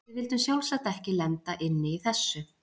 Við vildum sjálfsagt ekki lenda inni í þessu!